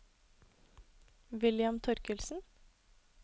William Torkildsen